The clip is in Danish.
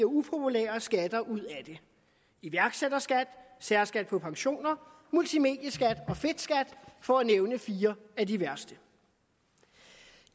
upopulære skatter ud af det iværksætterskat særskat på pensioner multimedieskat og fedtskat for at nævne fire af de værste